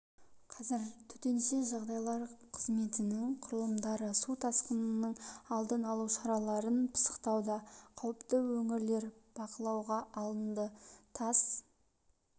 қазір төтенше жағдайлар қызметінің құрылымдары су тасқынының алдын алу шараларын пысықтауда қауіпті өңірлер бақылауға алынды тас